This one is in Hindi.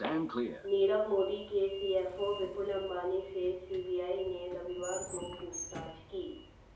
नीरव मोदी के सीएफओ विपुल अंबानी से सीबीआई ने रविवार को पूछताछ की